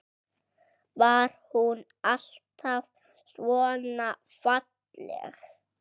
Var hún alltaf svona falleg?